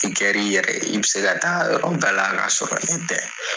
I kɛri yɛrɛ ye i bɛ se ka taa yɔrɔ bɛɛ la k'a sɔrɔ ne tɛ.